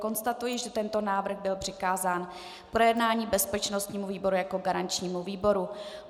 Konstatuji, že tento návrh byl přikázán k projednání bezpečnostnímu výboru jako garančnímu výboru.